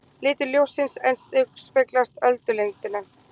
Litur ljóssins endurspeglar öldulengdina.